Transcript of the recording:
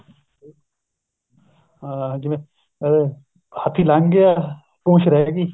ਹਾਂ ਜਿਵੇਂ ਆਹ ਹਾਥੀ ਲੰਗ ਗਿਆ ਪਪੂੰਛ ਰਿਹ ਗਈ